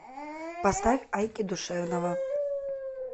поставь айки душевного